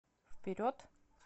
вперед